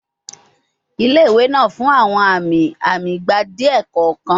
Ile-iwe naa fun awọn ami-ami igba diẹ kọọkan